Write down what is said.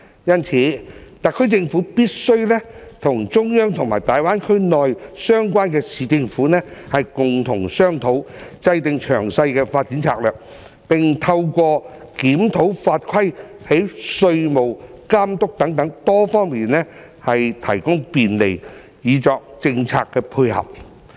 因此，特區政府必須與中央和大灣區內相關的市政府共同商討，制訂詳細的發展策略，並透過檢討法規，從稅務、監管等多方面提供便利，以作政策配合。